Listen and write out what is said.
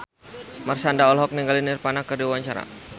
Marshanda olohok ningali Nirvana keur diwawancara